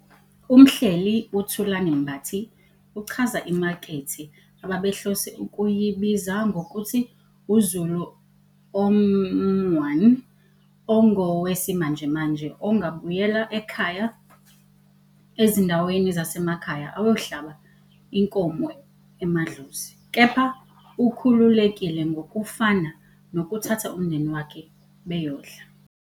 Umhleli uThulani Mbathi uchaza imakethe abebehlose ukuyibiza ngokuthi "uZulu omeone ongowesimanjemanje ongabuyela ekhaya ezindaweni zasemakhaya ayohlaba inkomo emadlozi, kepha ukhululekile ngokufana nokuthatha umndeni wakhe bayodla